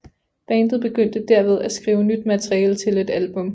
Bandet begyndte derved at skrive nyt materiale til et album